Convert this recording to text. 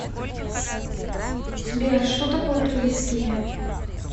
сбер что такое трубецкие